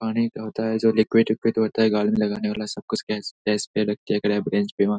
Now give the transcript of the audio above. पानी का होता हैं जो लिकुविड विकुविड होता हैं गाल में लगाने वाला सब कुछ --